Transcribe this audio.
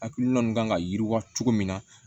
Hakilina min kan ka yiriwa cogo min na